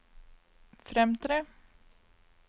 fremtre